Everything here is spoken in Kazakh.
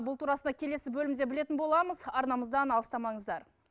бұл турасында келесі бөлімде білетін боламыз арнамыздан алыстамаңыздар